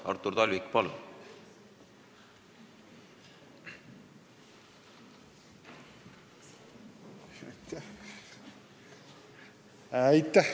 Artur Talvik, palun!